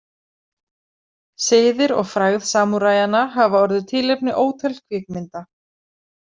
Siðir og frægð samúræjanna hafa orðið tilefni ótal kvikmynda.